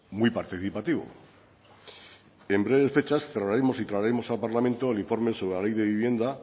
muy participativo en breves fechas cerraremos y traeremos al parlamento el informe sobre la ley de vivienda